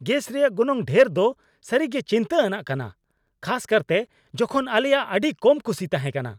Gas ᱨᱮᱭᱟᱜ ᱜᱚᱱᱚᱝ ᱰᱷᱮᱨ ᱫᱚ ᱥᱟᱹᱨᱤᱜᱮ ᱪᱤᱱᱛᱟᱹ ᱟᱱᱟᱜ ᱠᱟᱱᱟ, ᱠᱷᱟᱥᱠᱟᱨᱛᱮ ᱡᱚᱠᱷᱚᱱ ᱟᱞᱮᱭᱟᱜ ᱟᱹᱰᱤ ᱠᱚᱢ ᱠᱩᱥᱤ ᱛᱟᱦᱮᱱᱟ ᱾